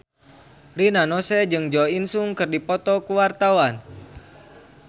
Rina Nose jeung Jo In Sung keur dipoto ku wartawan